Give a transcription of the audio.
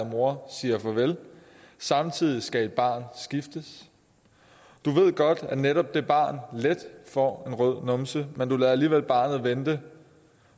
mor siger farvel samtidig skal et barn skiftes du ved godt at netop det barn let får en rød numse men du lader alligevel barnet vente